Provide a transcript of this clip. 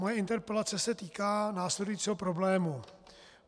Moje interpelace se týká následujícího problému.